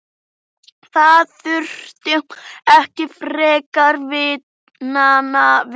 Það þurfti ekki frekari vitnanna við.